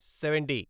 seventy